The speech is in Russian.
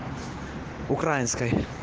украинскай